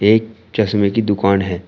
एक चश्मे की दुकान है।